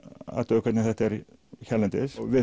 að sjá hvernig þetta er hérlendis við